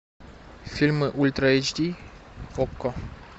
фильмы ультра эйч ди окко